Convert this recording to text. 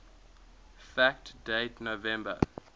fact date november